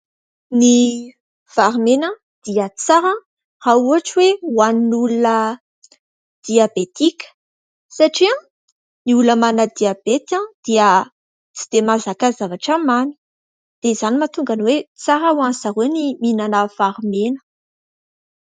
Ny vary mena dia tsara raha ohatra hoe hohanin'ny olona diabetika satria ny olona manana diabeta dia tsy dia mazaka zavatra mamy dia izany mahatonga ny hoe tsara ho an'ny zareo ny mihinana vary mena.